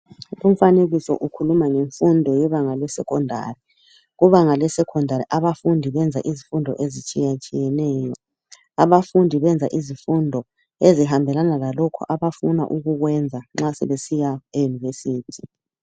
Umfanekiso ukhuluma ngemfundo yebanga leSecondary kubanga lesecondary abafundi benza izifundo ezitshiya tshiyeneyo abafundi benza lokhu okuhambelana labafuna ukukwenza nxa sebesiya e University